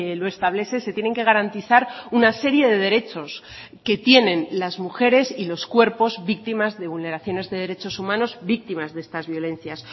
lo establece se tienen que garantizar una serie de derechos que tienen las mujeres y los cuerpos víctimas de vulneraciones de derechos humanos víctimas de estas violencias